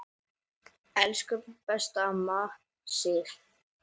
Elsku besta amma Sif.